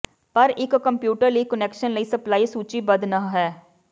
ਪਰ ਇੱਕ ਕੰਪਿਊਟਰ ਲਈ ਕੁਨੈਕਸ਼ਨ ਲਈ ਸਪਲਾਈ ਸੂਚੀਬੱਧ ਨਹ ਹੈ